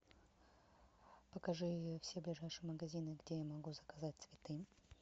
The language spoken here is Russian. покажи все ближайшие магазины где я могу заказать цветы